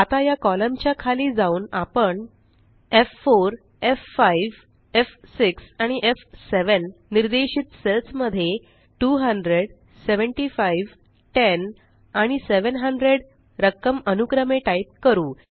आता या कॉलम च्या खाली जाऊन आपण f4f5एफ6 आणि एफ7 निर्देशित सेल्स मध्ये 20075 10 आणि 700 रक्कम अनुक्रमे टाइप करू